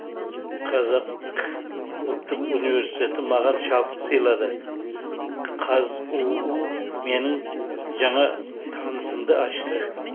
қазақ ұлттық университеті маған шабыт сыйлады қазұу менің жаңа танысымды ашты